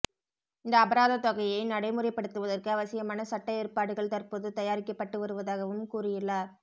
இந்த அபராதத் தொகையை நடைமுறைப்படுத்துவதற்கு அவசியமான சட்ட ஏற்பாடுகள் தற்போது தயாரிக்கப்பட்டு வருதாகவும் கூறியுள்ளார்